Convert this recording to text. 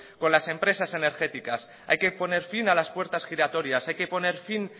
con las empresas energéticas hay que poner fin a las puertas giratorias hay que poner fin